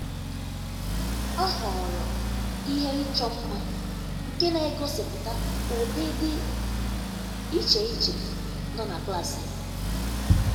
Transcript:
Ọ́ họ̀ọ̀rọ̀ ihe ịchọ́ mma nke nà-égósípụ́ta ụ́dị́ dị́ iche iche nọ́ na klas ya.